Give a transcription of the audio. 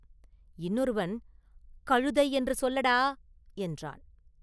இன்னொருவன் “கழுதை என்று சொல்லடா” என்றான்.